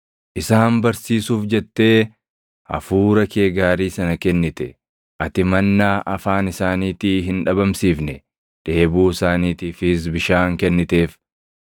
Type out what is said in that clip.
Isaan barsiisuuf jettee Hafuura kee gaarii sana kennite. Ati mannaa afaan isaaniitii hin dhabamsiifne; dheebuu isaaniitiifis bishaan kenniteef.